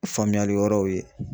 Faamuyali wɛrɛw ye.